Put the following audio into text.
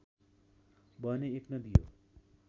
बहने एक नदी हो